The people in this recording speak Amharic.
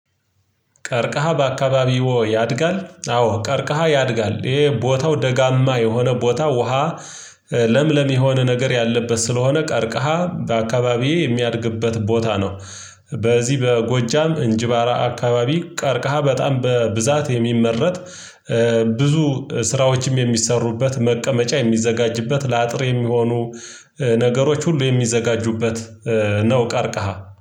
ቀርቀሃ በአካባቢው ያድጋል አዎ ቀርቀሃ ያድጋል ይሄ ቦታው ደጋማ የሆነ ቦታ ውሃ ለምለም የሆነ ነገር ያለበት ስለሆነ ቀርቀሃ በአካባቢዬ የሚያድግበት ቦታ ነው። በዚህ በጎጃም እንጅባራ አካባቢ ቀርቀሃ በጣም በብዛት የሚመረጥ ብዙ ስራዎችም የሚሰሩበት መቀመጫ የሚዘጋጅበት ለአጥር የሚሆኑ ነገሮች ሁሉ የሚዘጋጁበት ነው። ቀርቀሃ